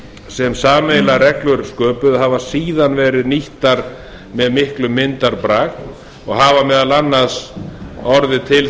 sem sameiginlegar reglur sköpuðu hafa síðan verið nýttir með miklum myndarbrag og hafa meðal annars orðið til